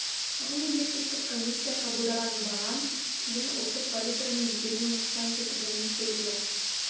ал мемлекеттік комиссия қабылдаған бағам кейін ұлттық валютаның беделіне нұқсан келтіргені белгілі